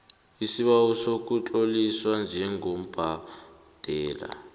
isibawo sokutloliswa njengobhadela